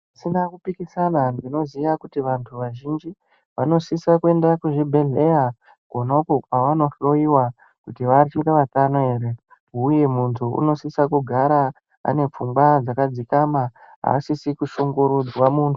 Pasina kupikisana tinoziya kuti vanthu vazhinji vanosisa kuenda kuzvibhedhleya kwonakwo kwevanohloiwa kuti vachiri vatano ere uye munthu unosisa kugara ane pfungwa dzakadzikama asina asisikushungurudzwa munhu.